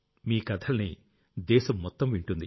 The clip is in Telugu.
మీ కథల్ని దేశం మొత్తం వింటుంది